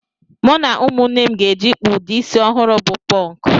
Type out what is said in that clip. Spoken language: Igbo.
Mụ na ụmụnne m gaje ịkpụ ụdị isi ọhụrụ bụ pọnk